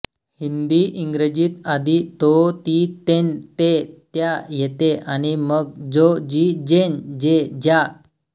हिंदीइंग्रजीत आधी तोतीतेंतेत्या येते आणि मग जो जी जें जे ज्या